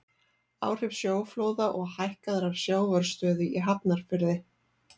Áhrif sjóflóða og hækkaðrar sjávarstöðu í Hafnarfirði.